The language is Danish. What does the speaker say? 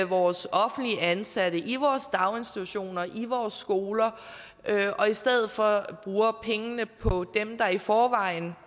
vores offentligt ansatte i vores daginstitutioner i vores skoler og i stedet for bruger pengene på dem der i forvejen